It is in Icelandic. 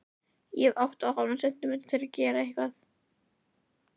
Ég hef átta og hálfan sentímetra til að gera eitthvað.